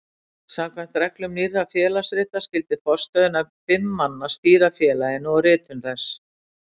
Samkvæmt reglum Nýrra félagsrita skyldi forstöðunefnd fimm manna stýra félaginu og ritum þess.